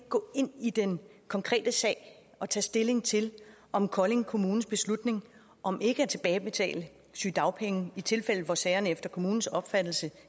gå ind i den konkrete sag og tage stilling til om kolding kommunes beslutning om ikke at tilbagebetale sygedagpenge i tilfælde hvor sagerne efter kommunens opfattelse